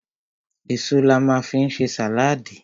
Èso la ma fi ń ṣe sàláàdì.